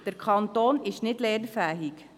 Der Kanton ist nicht lernfähig.